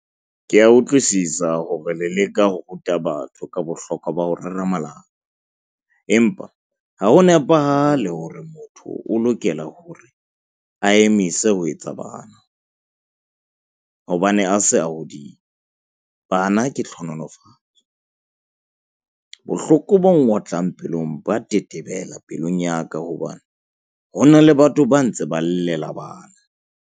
Ke a utlwisisa hore le leka ho ruta batho ka bohlokwa ba ho rera malapa. Empa ha ho nepahale hore motho o lokela hore a emise ho etsa bana hobane a se a hodile. Bana ke tlhonolofatso bohloko bo nwotlang pelong ba tetebelang pelong ya ka hobane hona le batho ba ntse ba llela bana.